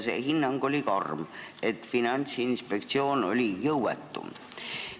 See hinnang oli karm, et Finantsinspektsioon oli jõuetu.